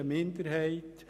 Ich wiederhole mich: